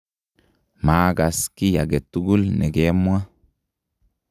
maakas kiy age tugul ne kemwaa.